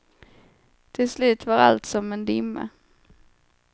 Till slut var allt som en dimma.